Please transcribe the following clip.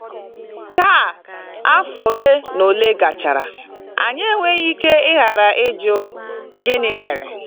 Taa, afọ ole na ole gachara, anyị enweghị ike ịghara ịjụ: ‘Gịnị mere?’